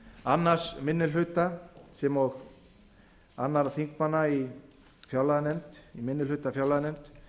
annar minni hluta sem og annarra þingmanna í minni hluta fjárlaganefnd